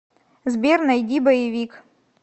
сбер найди боевик